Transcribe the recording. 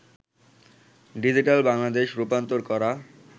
digital Bangladesh' রূপান্তর করা